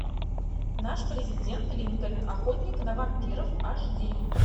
наш президент линкольн охотник на вампиров аш ди